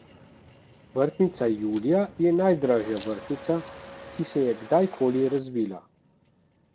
Vrtnica julija je najdražja vrtnica, ki se je kdajkoli razvila.